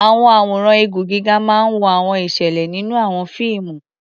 Àwọn àwòrán igun gíga máa ń wo àwọn ìṣẹ̀lẹ̀ nínú àwọn fíìmù.